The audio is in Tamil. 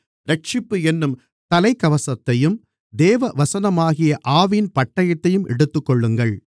இரட்சிப்பு என்னும் தலைக்கவசத்தையும் தேவவசனமாகிய ஆவியின் பட்டயத்தையும் எடுத்துக்கொள்ளுங்கள்